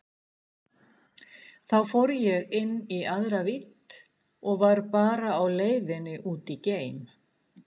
Þá fór ég inn í aðra vídd og var bara á leiðinni út í geim.